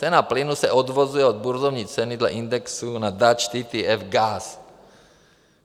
Cena plynu se odvozuje od burzovní ceny dle indexu na Dutch TTF Gas.